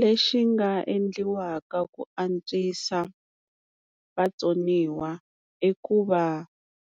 Lexi nga endliwaka ku antswisa vatsoniwa i ku va